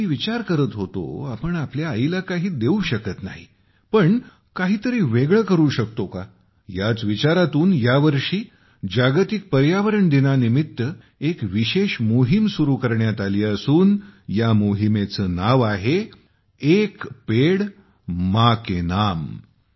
मी विचार करत होतो आपण आईला काही देऊ शकत नाही पण काहीतरी वेगळं करू शकतो का याच विचारातून यावर्षी जागतिक पर्यावरण दिनानिमित्त एक विशेष मोहीम सुरू करण्यात आली असून या मोहिमेचे नाव आहे - 'एक पेड माँ के नाम'